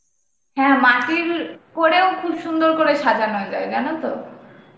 হ্যাঁ মাটির করেও খুব সুন্দর করে সাজানো যায় জানো তো.